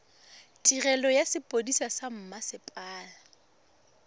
tirelo ya sepodisi sa mmasepala